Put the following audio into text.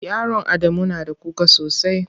Yaron Adamu na da kuka sosai.